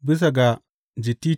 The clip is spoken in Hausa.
Bisa ga gittit.